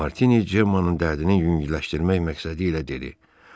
Martini Cemmanın dərdini yüngülləşdirmək məqsədilə dedi: